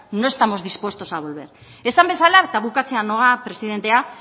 no estamos dispuestos a volver esan bezala eta bukatzera noa presidentea